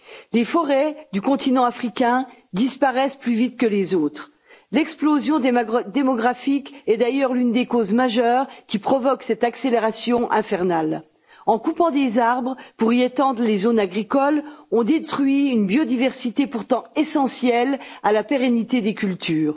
Les forêts du continent africain disparaissent plus vite que les autres. L'explosion démographique est d'ailleurs l'une des causes majeures qui provoque cette accélération infernale. En coupant des arbres pour y étendre les zones agricoles, on détruit une biodiversité pourtant essentielle à la pérennité des cultures.